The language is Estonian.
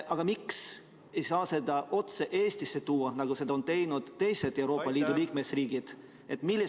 Aga miks ei saa seda otse Eestisse tuua, nagu on toonud teised Euroopa Liidu liikmesriigid?